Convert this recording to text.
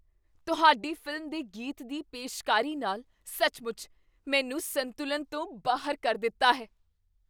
ਤੁਹਾਡੀ ਫ਼ਿਲਮ ਦੇ ਗੀਤ ਦੀ ਪੇਸ਼ਕਾਰੀ ਨਾਲ ਸੱਚਮੁੱਚ ਮੈਨੂੰ ਸੰਤੁਲਨ ਤੋਂ ਬਾਹਰ ਕਰ ਦਿੱਤਾ ਹੈ!